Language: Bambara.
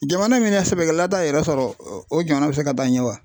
Jamana min na sɛbɛkɛla t'a yɛrɛ sɔrɔ o jamana bɛ se ka taa ɲɛ wa?